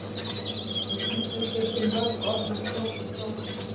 Í íslensku eru til mörg orð um snjó og snjókomu.